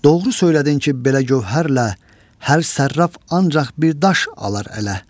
Doğru söylədin ki, belə gövhərlə hər sərraf ancaq bir daş alar ələ.